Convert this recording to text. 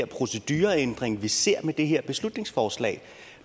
procedureændring vi ser med det her beslutningsforslag